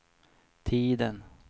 tiden